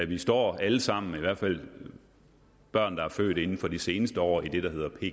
vi står alle sammen i hvert fald børn der er født inden for de seneste år i det der hedder